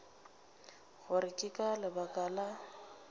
gore ke ka lebaka la